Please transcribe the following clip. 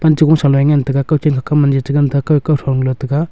pan cha gung salo e ngantaiya kao chan ka kam mam e cha ngantaga kau kau thon key taga.